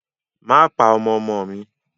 Má pa ọmọ ọmọ mi!